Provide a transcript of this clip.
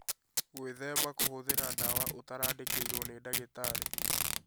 Gwĩthema kũhũthĩra ndawa ũtarandĩkĩirwo nĩ ndagĩtarĩ